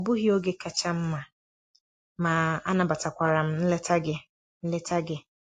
Ọ bụghị oge kacha mma, ma anabatakwara m nleta gị. nleta gị.